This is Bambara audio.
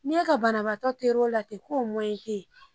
N'i e ka banabagatɔ ter'o la ten k'o mɔyɛn t'e ye.